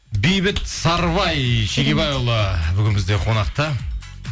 бейбіт сарыбай шегебайұлы бүгін бізде қонақта